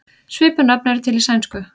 Svipuð nöfn eru til í sænsku.